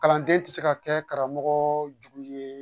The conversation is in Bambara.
Kalanden tɛ se ka kɛ karamɔgɔ jugu ye